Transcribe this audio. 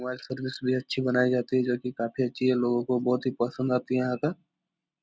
Mobile service भी अच्छी बनाई जाती है जो की काफी अच्छी है लोगो को बहुत ही पसंद आती है यहाँ का।